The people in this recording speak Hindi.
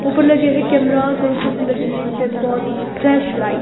ऊपर लगे हैं कैमरास और ऊपर से लगी है इन पे बहोत फ्लैशलाइट --